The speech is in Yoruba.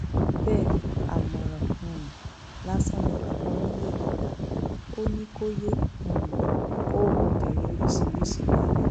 bẹẹ àmọràn um lásán ni bàbá onílé rẹ yìí gbà á ò ní kò yéé um kó obìnrin oríṣiríṣiì wálé